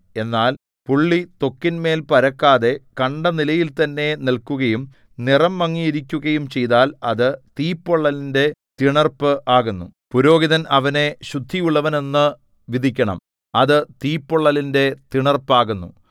എന്നാൽ പുള്ളി ത്വക്കിന്മേൽ പരക്കാതെ കണ്ട നിലയിൽ തന്നെ നില്‍ക്കുകയും നിറം മങ്ങിയിരിക്കുകയും ചെയ്താൽ അത് തീപ്പൊള്ളലിന്റെ തിണർപ്പ് ആകുന്നു പുരോഹിതൻ അവനെ ശുദ്ധിയുള്ളവനെന്നു വിധിക്കണം അത് തീപ്പൊള്ളലിന്റെ തിണർപ്പാകുന്നു